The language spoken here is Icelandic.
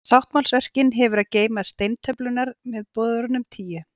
Sáttmálsörkin hefur að geyma steintöflurnar með boðorðunum tíu.